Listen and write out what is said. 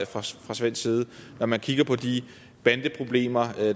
fra svensk side når man kigger på de bandeproblemer